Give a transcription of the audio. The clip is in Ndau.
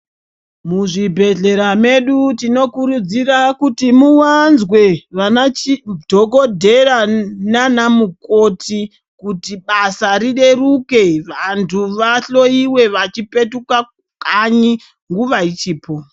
Muzvibhedhlera mwedu tinokurudzira kutibmuwanzwe vana dhokodheya naana mukoti kuti basa rireruke vantu vahloyiwe vachipetuka kanyi nguva ichipo.